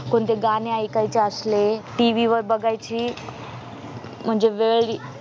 कोणती गाणी ऐकायची असली TV वर म्हणजे वेळ